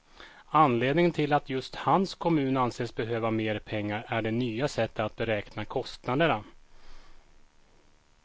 Anledningen till att just hans kommun anses behöva mer pengar är det nya sättet att beräkna kostnaderna.